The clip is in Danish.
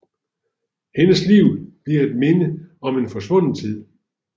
Hendes liv bliver et minde om en forsvunden tid